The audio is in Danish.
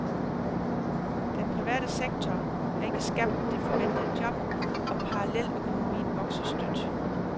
Den private sektor har ikke skabt de forventede job og paralleløkonomien vokser støt.